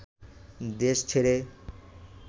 দেশ ছেড়ে